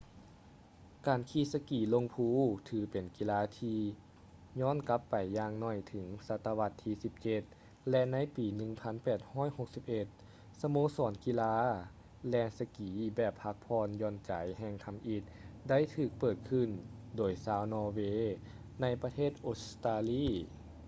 ການຂີ່ສະກີລົງພູ ຖືເປັນກິລາທີ່ຢ້ອນກັບໄປຢ່າງໜ້ອຍເຖິງສັດຕະວັດທີ 17 ແລະ ໃນປີ 1861 ສະໂມສອນກິລາແລ່ນສະກີແບບພັກຜ່ອນຢ່ອນໃຈແຫ່ງທຳອິດ ໄດ້ຖືກເປີດຂຶ້ນໂດຍຊາວນໍເວ ໃນປະເທດອົດສະຕາລີ